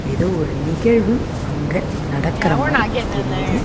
எதோ ஒரு நிகழ்வு அங்க நடக்குற மாதிரி தெரியுது.